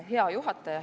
Hea juhataja!